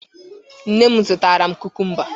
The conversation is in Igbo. Nne m zụtara m kukumba.